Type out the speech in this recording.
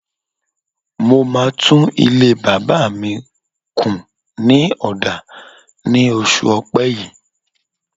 Mo máa tún ilé bàbá mi kù ní ọ̀dà ní oṣù ọpẹ́ yìí.